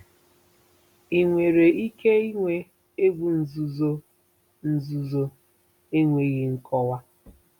Ị nwere ike ịnwe egwu nzuzo, nzuzo, enweghị nkọwa?